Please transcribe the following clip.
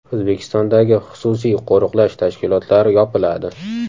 O‘zbekistondagi xususiy qo‘riqlash tashkilotlari yopiladi.